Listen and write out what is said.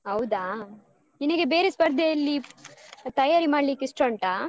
ಹೌದಾ ನಿನಗೆ ಬೇರೆ ಸ್ಪರ್ಧೆಯಲ್ಲಿ ತಯಾರಿ ಮಾಡ್ಲಿಕ್ಕೆ ಇಷ್ಟ ಉಂಟಾ?